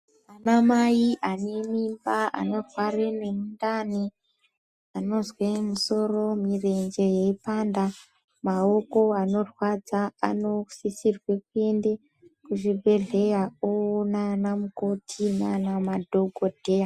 Ana mai ane mimba, anorware nemundani, anozwee musoro, murenje yeipanda, mawoko anorwadza anosisirwe kuyende kuzvibhedhleyaa oona anamukoti naana madhokodheyaa.